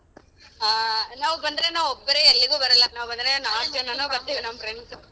ಹ ನಾವ್ ಬಂದ್ರೆ ನಾವ್ ಒಬ್ರೆ ಎಲ್ಲಿಗೂ ಬರಲ್ಲ ನಾವ್ ಬಂದ್ರೆ ನಾಕ್ ಜನನು ಬರ್ತೀವಿ ನಮ್ friends.